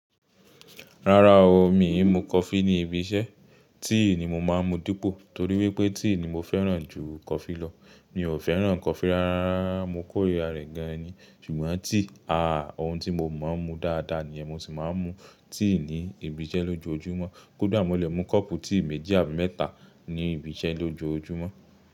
Rárá o, mi ò mú coffee ní ibi iṣẹ́, tea ni mo máa ń mú dípò torí wípé tea ni mo fẹ́ràn jù coffee lọ. Mi ò fẹ́ràn coffee rárá, mo kórìíra rẹ̀ gan ni. Ṣùgbọ́n tea, àáà, ohun tí mo máa ń mú dáadáa ni, mo sì máa ń mú tea ní ibi iṣẹ́ lójoojúmọ́. Kódà mo lè mú kọ́ọ̀pù tea méjì àbí mẹ́ta ní ibi iṣẹ́ lójoojúmọ́